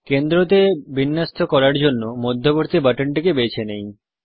কেন্দ্রতে বিন্যস্ত করার জন্য মধ্যবর্তী বাটনটিকে বেছে নেই